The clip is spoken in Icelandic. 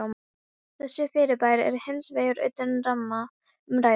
Þessi fyrirbæri eru hins vegar utan ramma umræðunnar hér.